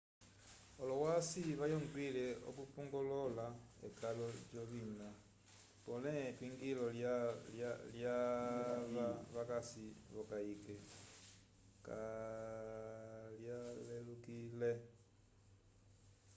olohwasi vayongwile okupongolola ekalo lyovina pole epingiyo lyava vakasi v'okayike kavyalelukile